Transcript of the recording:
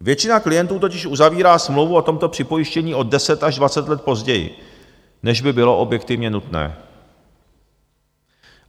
Většina klientů totiž uzavírá smlouvu o tomto připojištění o deset až dvacet let později, než by bylo objektivně nutné.